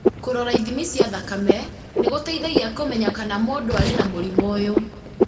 Kũrora ithimi cia thakame nĩ gũteithagia kũmenya kana mũndũ arĩ na mũrimũ ũyũ.